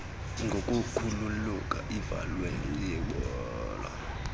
ngokukhulula ivalve yebhola